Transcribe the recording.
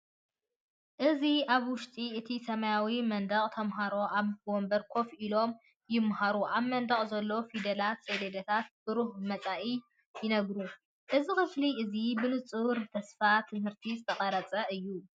እዚ ኣብ ውሽጢ እቲ ሰማያዊ መንደቕ ተማሃሮ ኣብ መንበር ኮፍ ኢሎም ይመሃሩ። ኣብ መንደቕ ዘሎ ፊደላትን ሰሌዳታትን ብሩህ መጻኢ ይነግሩ። እዚ ክፍሊ እዚ ብንጹር ብተስፋ ትምህርቲ ዝተቐርጸ እዩ።